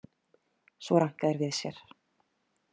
Svo ranka þeir við sér.